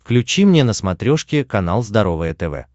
включи мне на смотрешке канал здоровое тв